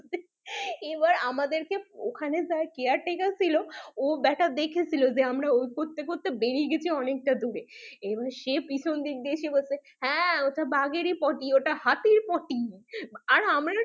এবার আমাদের কে ওখানে যে caretaker ছিল ও ব্যাটা দেখেছিল যে আমরা ওই করতে করতে বেরিয়ে গেছি অনেকটা দূর এ এবার সে পিছন দিক থেকে এসে বলছে ওটা বাঘ এর ই potty ওটা হাতির potty না আর আমরা